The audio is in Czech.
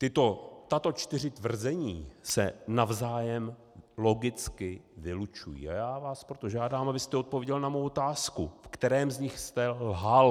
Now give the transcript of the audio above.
Tato čtyři tvrzení se navzájem logicky vylučují, a já vás proto žádám, abyste odpověděl na mou otázku, ve kterém z nich jste lhal.